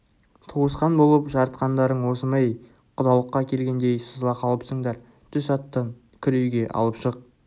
туысқан болып жарытқандарың осы ма әй құдалыққа келгендей сызыла қалыпсыңдар түс аттан кір үйге алып шық